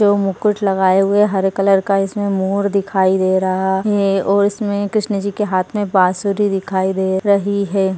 यो मुकुट लगाए हुए हरे कलर का इसमे मोर दिखाई दे रहा ये और इसमे कृष्णा जी की हात मे बासूरी दिखाई दे रही हैं।